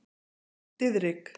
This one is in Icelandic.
Diðrik